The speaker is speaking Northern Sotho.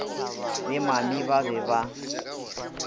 le mami ba be ba